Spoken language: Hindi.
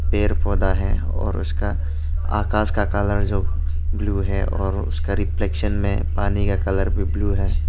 पेड़ पौधा भी है और उसका आकाश का कलर जो ब्लू है उसका रिफ्लेक्शन में पानी का कलर भी ब्लू है।